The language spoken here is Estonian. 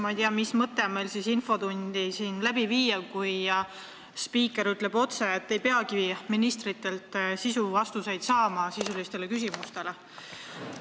Ma ei tea, mis mõtet on infotundi läbi viia, kui spiiker ütleb otse, et ministritelt ei peagi saama sisulisi vastuseid sisulistele küsimustele.